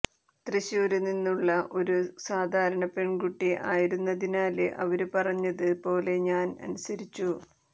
തൃശൂര് നിന്നുള്ള ഒരു സാധാരണ പെണ്കുട്ടി ആയിരുന്നതിനാല് അവര് പറഞ്ഞത് പോലെ ഞാന് അനുസരിച്ചു